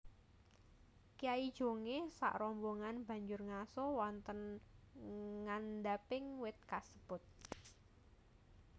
Kyai Jongé sakrombongan banjur ngaso wonten ngandhaping wit kasebut